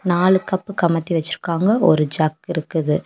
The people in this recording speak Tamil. நாலு கப் கமத்தி வச்சிருக்காங்க ஒரு ஜக் இருக்குது.